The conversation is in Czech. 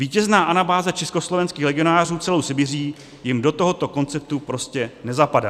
Vítězná anabáze československých legionářů celou Sibiří jim do tohoto konceptu prostě nezapadá.